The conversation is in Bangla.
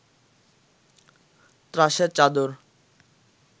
ত্রাসের চাদর